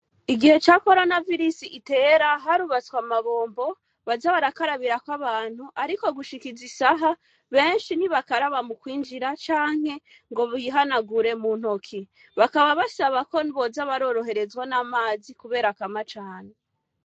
Igihe ca coronavirus itera, harubatswe amabombo baja barakarabirako abantu, ariko gushika izi saha, benshi ntibakaraba mu kwinjira canke ngo bihanagure mu ntoki. Bakaba basaba ko boza baroroherezwa n'amazi kuko akama cane.